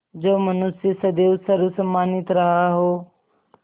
जो मनुष्य सदैव सर्वसम्मानित रहा हो